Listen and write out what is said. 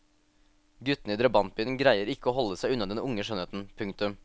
Guttene i drabantbyen greier ikke å holde seg unna den unge skjønnheten. punktum